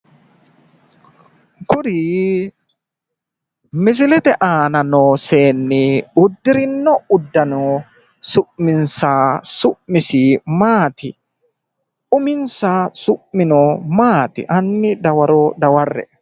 Kuri misilete aana noo seenni uddirinno uddano su'misi maati? Uminsa su'mino maati? Hanni dawaro dawarre.